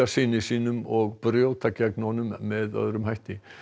syni sínum og brjóta gegn honum með öðrum hætti